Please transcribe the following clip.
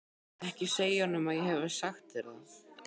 Ekki segja honum að ég hafi sagt þér það.